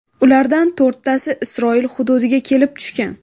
Ulardan to‘rttasi Isroil hududiga kelib tushgan.